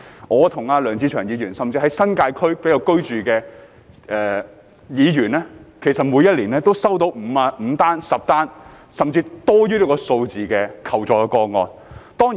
我和梁志祥議員，甚至在新界區居住的議員，每年都收到5宗、10宗，甚至更多的求助個案。